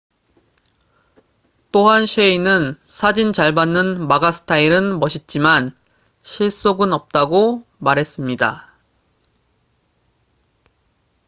또한 셰이는 사진 잘 받는 마가 스타일은 멋있지만 실속은 없다고 말했습니다